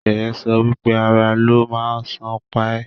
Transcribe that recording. Sheye sọ wípé "Àrà ló má sàn pa e"